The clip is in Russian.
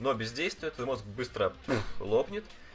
но бездействует твой мозг быстро пув лоплет